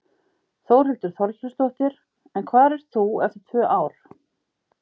Þórhildur Þorkelsdóttir: En hvar ert þú eftir tvö ár?